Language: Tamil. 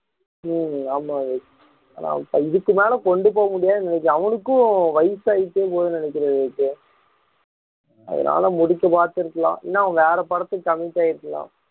உம் ஆமா விவேக் ஆனா இதுக்கு மேல கொண்டு போக முடியாதுன்னு நினைக்கிறேன் அவனுக்கும் வயசாயிட்டே போகுதுன்னு நினைக்கிறேன் விவேக் அதனால முடிக்க பார்த்திருக்கலாம் இல்லனா அவங்க வேற படத்துக்கு commit ஆயிருக்கலாம்